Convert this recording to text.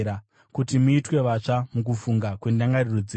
kuti muitwe vatsva mukufunga kwendangariro dzenyu;